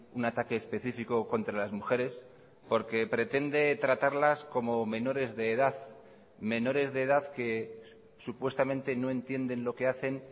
un ataque específico contra las mujeres porque pretende tratarlas como menores de edad menores de edad que supuestamente no entienden lo que hacen